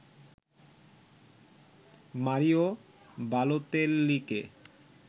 Mario বালোতেল্লিকে